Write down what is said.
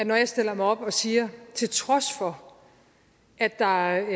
når jeg stiller mig op og siger til trods for at der